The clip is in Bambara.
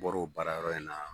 Bɔr'o baara yɔrɔ in na